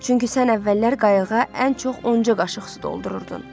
Çünki sən əvvəllər qayıqa ən çox onca qaşıq su doldururdun.